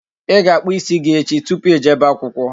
Ị ga-akpụ ịsị gi echi tupu Ị jebe akwụkwọ